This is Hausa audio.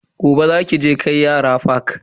Gobe za ki je kai yara fak.